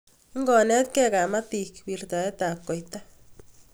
Ikonetke kamatik wirtaet tab koita